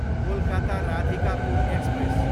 Kolkata, Radhikapur express